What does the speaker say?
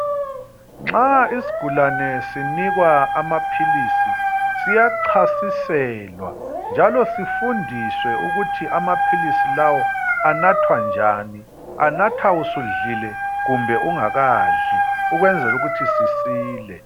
Nxa isigulani sinikwa amapills siyachasiselwa njalo sifundiswe ukuthi amapills lawa anathwa njani anathwa usudlile kumbe ungakadli ukuyenzela ukuthi sisile